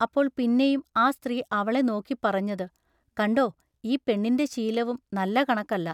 അപ്പോൾ പിന്നെയും ആ സ്ത്രീ അവളെ നോക്കിപ്പറഞ്ഞതു:- കണ്ടൊ ഈ പെണ്ണിന്‍റെ ശീലവും നല്ല കണക്കല്ല.